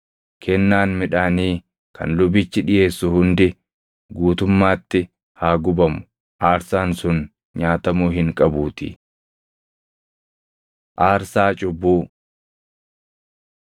Kennaan midhaanii kan lubichi dhiʼeessu hundi guutummaatti haa gubamu; aarsaan sun nyaatamuu hin qabuutii.” Aarsaa Cubbuu